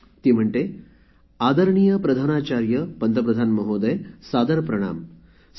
मला देहरादूनमधून एका गायत्री नावाच्या मुलीने जी अकरावीची विद्यार्थिनी आहे फोन करुन एक संदेश पाठवला त्यात ती म्हणते